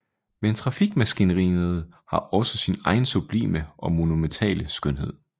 Men trafikmaskineriet har også sin egen sublime og monumentale skønhed